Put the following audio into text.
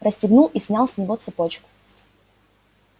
расстегнул и снял с него цепочку